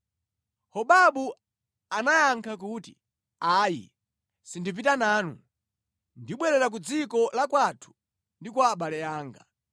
Hobabu anayankha kuti, “Ayi, sindipita nanu, ndibwerera ku dziko la kwathu ndi kwa abale anga.”